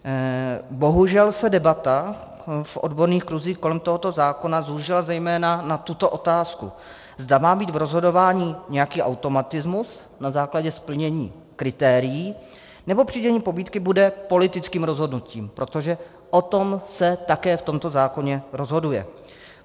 Bohužel se debata v odborných kruzích kolem tohoto zákona zúžila zejména na tuto otázku, zda má být v rozhodování nějaký automatismus na základě splnění kritérií, nebo přidělení pobídky bude politickým rozhodnutím, protože o tom se také v tomto zákoně rozhoduje.